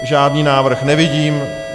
Žádný návrh nevidím.